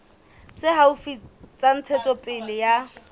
tse haufi tsa ntshetsopele ya